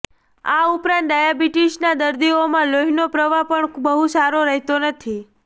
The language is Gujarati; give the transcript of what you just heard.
આ ઉપરાંત ડાયાબિટીસના દર્દીઓમાં લોહીનો પ્રવાહ પણ બહુ સારો રહેતો નથી